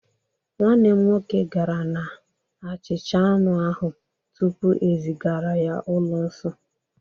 nwanne m nwoke gara na-ehicha anụ ahụ tupu ezigara ya ụlọ nsọ